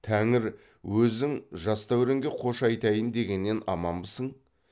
тәңір өзің жас дәуренге қош айтайын дегеннен аманбысың